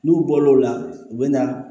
N'u bɔla o la u bɛ na